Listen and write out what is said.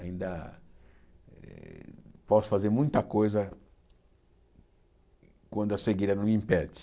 Ainda eh posso fazer muita coisa quando a cegueira não me impede.